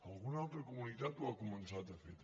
alguna altra comunitat ho ha començat a fer també